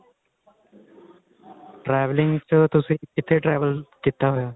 traveling ਚ ਤੁਸੀਂ ਕਿੱਥੇ travel ਕੀਤਾ ਹੋਇਆ